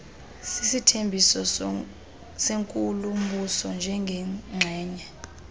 sisithembiso senkulumbuso njengengxenye